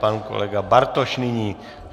Pan kolega Bartoš nyní.